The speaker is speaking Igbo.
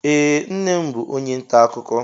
Ee, nnem bú onye ntà akụkọ